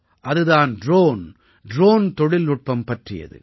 அது தான் drone drone தொழில்நுட்பம் பற்றியது